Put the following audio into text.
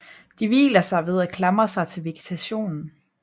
De hviler sig ved at klamre sig til vegetationen